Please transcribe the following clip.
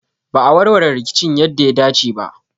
Ba a warware rikicin yadda ya dace ba.